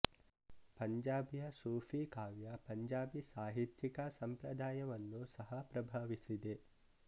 ಪಂಜಾಬಿಯ ಸೂಫಿ ಕಾವ್ಯ ಪಂಜಾಬಿ ಸಾಹಿತ್ಯಿಕ ಸಂಪ್ರದಾಯವನ್ನು ಸಹ ಪ್ರಭಾವಿಸಿದೆ